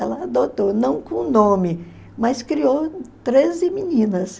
Ela adotou, não com nome, mas criou treze meninas.